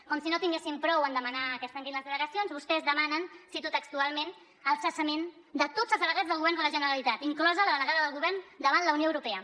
com si no en tinguessin prou a demanar que es tanquin les delegacions vostès demanen cito textualment el cessament de tots els delegats del govern de la generalitat inclosa la delegada del govern davant la unió europea